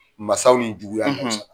Masaw ni juguya,